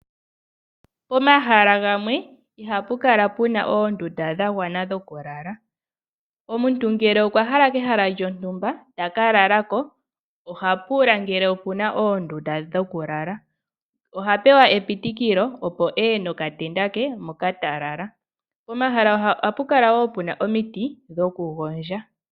Pomahala gamwe ihapu kala puna oondunda dha gwana dhokulala. Omuntu Omuntu ngele okwa hala kehala lyontumba a kalale oha pula ngele okuna oondunda dhokulala. Oha pewa epitikilo eye nokatenda ke hoka ena okulala. Ohapu kala puna omiti dhokugondja.